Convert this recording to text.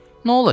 Nə olacaq?